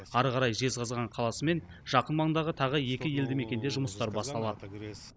әрі қарай жезқазған қаласы мен жақын маңдағы тағы екі елді мекенде жұмыстар басталады